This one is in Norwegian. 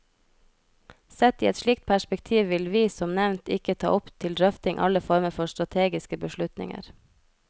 Sett i et slikt perspektiv vil vi, som nevnt, ikke ta opp til drøfting alle former for strategiske beslutninger.